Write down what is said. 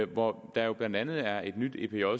hvor der jo blandt andet er blevet indført et nyt epj